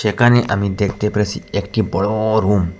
এখানে আমি দেখতে পেরেসি একটি বড় রুম ।